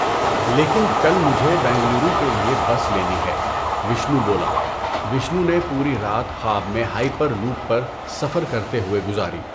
لیکن کل مجھے بنگلورو کے لیے بس لینی ہے، وشنو بولا۔ وشنو نے پوری رات خواب میں ہائپر لوپ پر سفر کرتے ہوئے گزاری۔